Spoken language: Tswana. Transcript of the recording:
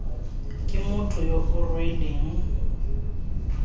ke motho yo o rweleng